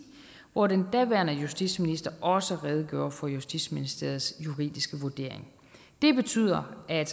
hvor den daværende justitsminister også redegjorde for justitsministeriets juridiske vurdering det betyder at